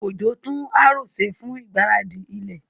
Ojo tún harrow ṣe fún ìgbáradì ilẹ̀.